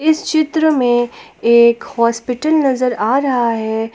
इस चित्र में एक हॉस्पिटल नजर आ रहा है।